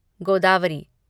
Godavari